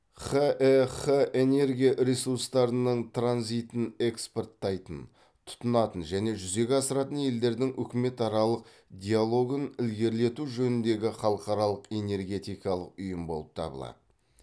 хэх энергия ресурстарының транзитін экспорттайтын тұтынатын және жүзеге асыратын елдердің үкіметаралық диалогын ілгерілету жөніндегі халықаралық энергетикалық ұйым болып табылады